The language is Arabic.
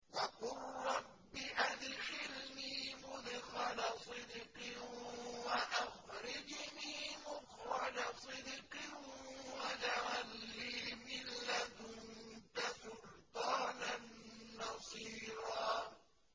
وَقُل رَّبِّ أَدْخِلْنِي مُدْخَلَ صِدْقٍ وَأَخْرِجْنِي مُخْرَجَ صِدْقٍ وَاجْعَل لِّي مِن لَّدُنكَ سُلْطَانًا نَّصِيرًا